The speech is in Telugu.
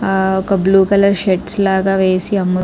ఒక బ్లూ కలర్ షేడ్స్ లాగ వేసి --